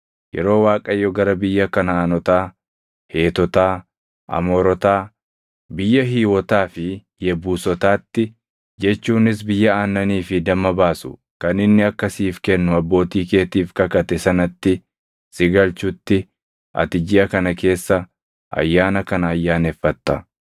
Yeroo Waaqayyo gara biyya Kanaʼaanotaa, Heetotaa, Amoorotaa, biyya Hiiwotaa fi Yebuusotaatti jechuunis biyya aannanii fi damma baasu kan inni akka siif kennu abbootii keetiif kakate sanatti si galchutti ati jiʼa kana keessa ayyaana kana ayyaaneffatta;